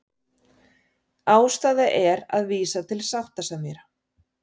Ástæða til að vísa til sáttasemjara